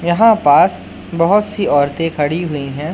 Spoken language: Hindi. यहां पास बहोत सी औरते खड़ी हुई है।